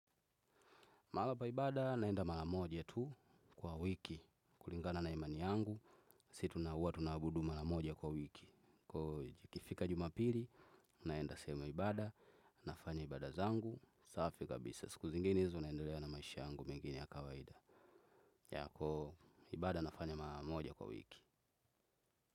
Mahala pa ibada naenda mara moja tu kwa wiki. Kulingana na imani yangu. Si tuna uwa tunabudu mara moja kwa wiki. Kwa iyo ikifika jumapili. Naenda sehemu ya ibada. Nafanya ibada zangu. Safi kabisa. Siku zinginezo naendelea na maisha yangu mengine ya kawaida. Ya kwa hiyo ibada nafanya mara moja kwa wiki.